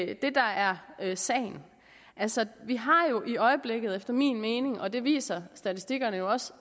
er det der er sagen altså vi har jo i øjeblikket og det viser statistikkerne også